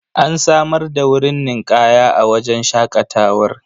An samar da wurin ninƙaya a wajen shaƙatawar.